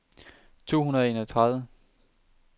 to hundrede og enogtredive